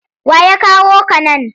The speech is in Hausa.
Wa ya kawo ka nan?